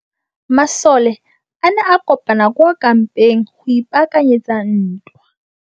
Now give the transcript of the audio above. Masole a ne a kopane kwa kampeng go ipaakanyetsa ntwa.